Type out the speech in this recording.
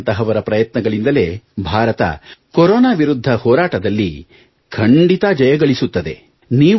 ನಿಮ್ಮಂಥವರ ಪ್ರಯತ್ನಗಳಿಂದಲೇ ಭಾರತ ಕೊರೊನಾ ವಿರುದ್ಧ ಹೋರೋಟದಲ್ಲಿ ಖಂಡಿತಾ ಜಯಗಳಿಸುತ್ತದೆ